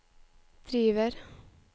driver